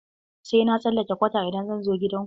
Sai na tsallake kwata idan zan zo gidan ku?